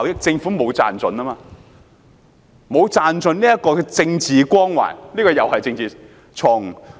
政府沒有賺盡政治光環，這又是政治錯誤。